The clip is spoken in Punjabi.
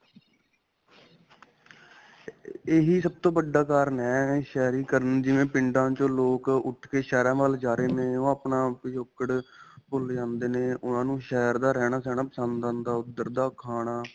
ਇਹੀ ਸਭ ਤੋ 'ਤੋ ਵੱਡਾ ਕਾਰਣ ਹੈਂ, ਸ਼ਹਿਰੀਕਰਨ ਜਿਵੇਂ ਪਿੰਡਾ 'ਚੋ ਲੋਕ ਉਠ ਕੇ ਸ਼ਹਿਰਾ ਵੱਲ ਜਾ ਰਹੇ ਨੇ ਓਹ ਆਪਣਾ ਪਿਛੋਕੜ ਭੁੱਲ ਜਾਂਦੇ ਨੇ ਉਨ੍ਹਾਂ ਨੂੰ ਸ਼ਹਿਰ ਦਾ ਰਹਿਣਾ-ਸਹਿਣਾ ਪਸੰਦ ਆਉਂਦਾ, ਓਧਰ ਦਾ ਖਾਣਾ.